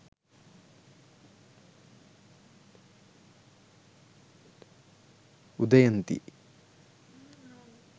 udaynthi